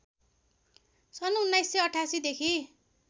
सन् १९८८ देखि